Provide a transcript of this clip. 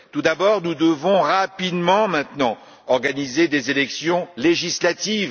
Tout d'abord, nous devons rapidement, maintenant, organiser des élections législatives.